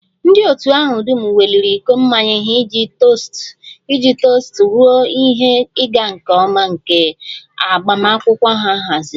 Ndị otu ahụ dum weliri iko mmanya ha iji tost ruo ihe ịga nke ọma nke agbamakwụkwọ ha haziri